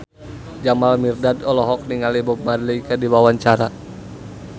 Jamal Mirdad olohok ningali Bob Marley keur diwawancara